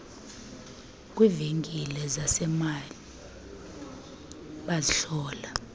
kwiivenkile zasemall bazihlola